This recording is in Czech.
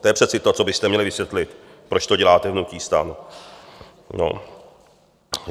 To je přece to, co byste měli vysvětlit, proč to děláte v hnutí STAN.